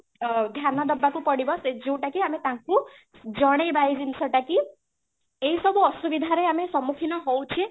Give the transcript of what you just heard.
ଅ ଧ୍ୟାନ ଦେବାକୁ ପଡିବ ଯୋଉଟାକି ଆମେ ତାଙ୍କୁ ଜଣେଇବା ଏଇ ଜିନିଷ ଟା କି ଏଇ ସବୁ ଅସୁବିଧା ରେ ଆମେ ସମ୍ମୁଖୀନ ହଉଛେ